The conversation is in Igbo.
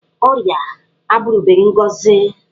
Ọrịa abụrụbeghị ngọzi.